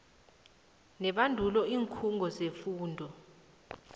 nebandulo iinkhungo zefundo